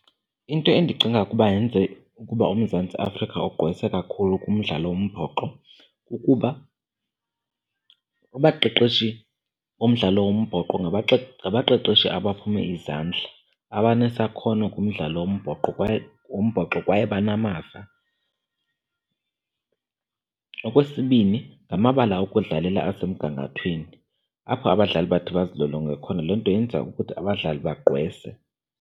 Into endicinga ukuba yenze ukuba uMzantsi Afrika ugqwese kakhulu kumdlalo wombhoxo kukuba abaqeqeshi bomdlalo wombhoxo ngabaqeqeshi abaphume izandla, abanesakhono kumdlalo wombhoxo kwaye banamava. Okwesibini, ngamabala okudlalela asemgangathweni apho abadlali bathi bazilolonge khona, loo nto yenza ukuthi abadlali bagqwese.